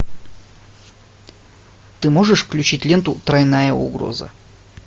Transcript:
ты можешь включить ленту тройная угроза